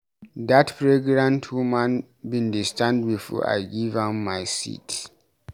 Dat pregnant woman bin dey stand before I give am my seat.